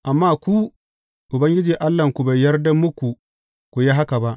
Amma ku, Ubangiji Allahnku bai yarda muku ku yi haka ba.